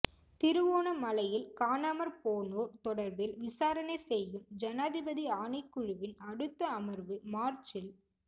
திருகோணமலையில் காணாமற் போனோர் தொடர்பில் விசாரணை செய்யும் ஜனாதிபதி ஆணைக் குழுவின் அடுத்த அமர்வு மார்ச்சில்